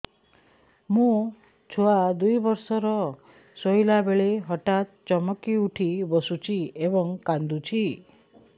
ମୋ ଛୁଆ ଦୁଇ ବର୍ଷର ଶୋଇଲା ବେଳେ ହଠାତ୍ ଚମକି ଉଠି ବସୁଛି ଏବଂ କାଂଦୁଛି